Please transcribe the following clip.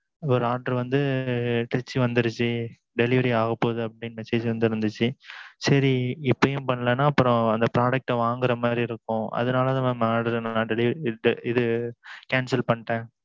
உங்க order வந்து Trichy வந்துருச்சி delivery ஆக போது அப்படினு message வந்து இருந்தது சரி இப்பமும் பன்னலான அந்த product வாங்குற மாறி இருக்கும் அதுனாலதான் mam delivery cancel அதை பண்ணிட்டேன்